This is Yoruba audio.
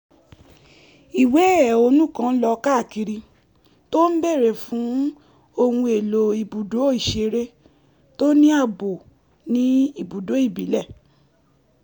ìwé ẹ̀hónú kan lọ káàkiri tó ń béèrè fún ohun èlò ibùdó ìṣeré tó ní ààbò ní ibùdó ìbílẹ̀